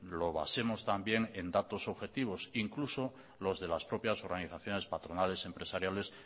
lo basemos también en datos objetivos incluso los de las propias organizaciones patronales empresariales